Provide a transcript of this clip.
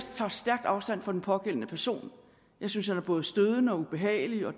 tager stærkt afstand fra den pågældende person jeg synes han er både stødende og ubehagelig og at